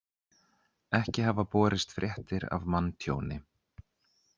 Ekki hafa borist fréttir af manntjóni